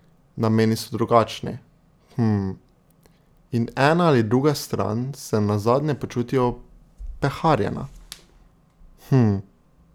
Nameni so drugačni, hmmm, in ena ali druga stran se nazadnje počuti opeharjena, hmmm.